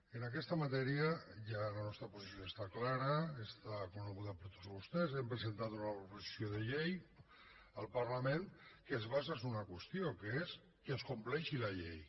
en aquesta matèria ja la nostra posició està clara és coneguda per tots vostès hem presentat una proposició de llei al parlament que es basa sobre una qüestió que és que es compleixi la llei